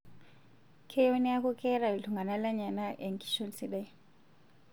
Keyieu neeku keeta iltung'ana lenyenak enkishon sidai